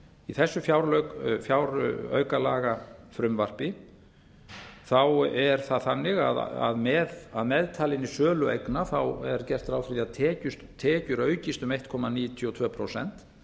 í þessu fjáraukalagafrumvarpi er það þannig að að meðtalinni sölu eigna er gert ráð fyrir því að tekjur aukist um einn komma níutíu og tvö prósent